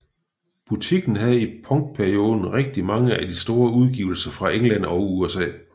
Butikken havde i punkperioden rigtig mange af de mest store udgivelser fra England og USA